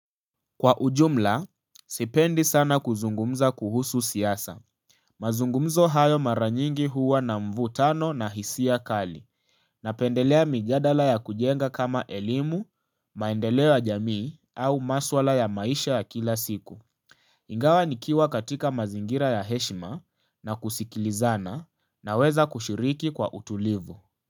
Kwa ujumla, sipendi sana kuzungumza kuhusu siasa. Mazungumzo hayo mara nyingi huwa na mvutano na hisia kali. Napendelea mijadala ya kujenga kama elimu, maendeleo ya jamii au maswala ya maisha ya kila siku. Ingawa nikiwa katika mazingira ya heshima na kusikilizana naweza kushiriki kwa utulivu.